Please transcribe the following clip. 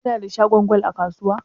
Kuna da shagon gwal a kasuwa?